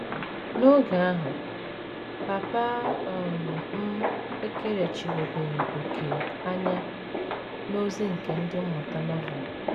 N’oge ahụ, papa um m ekerechiwebeghị òkè anya n’ozi nke Ndị Mmụta Novel.